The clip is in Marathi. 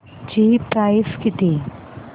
ची प्राइस किती